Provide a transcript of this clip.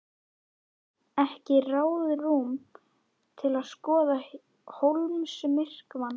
Ekki ráðrúm til að skoða sólmyrkvann.